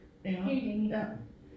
Helt enig